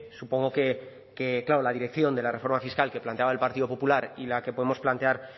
supongo que claro la dirección de la reforma fiscal que planteaba el partido popular y la que podemos plantear